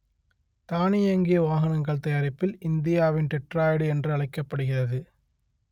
தானியங்கி வாகனங்கள் தயாரிப்பில் இந்தியாவின் டெட்ராய்டு என்று அழைக்கப்படுகிறது